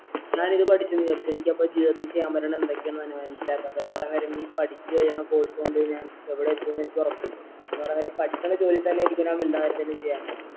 ഞാൻ ഇത് പഠിച്ചെന്ന് വിചാരിച്ചോ എനിക്കപ്പോ ജീവിതത്തി ചെയ്യാൻ പറ്റണ എന്തൊക്കെയാണ് മനസിലാകാത്ത പറയാൻ കാര്യം ഈ പഠിച്ച് കഴിയണ course കൊണ്ട് ഞാൻ എവിടെ എത്തും എനിക്ക് ഉറപ്പുണ്ടോ എന്ന് പറയുന്നേരം ഈ പടിക്കണ ജോലി തന്നെ